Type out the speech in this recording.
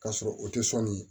K'a sɔrɔ o tɛ sɔnni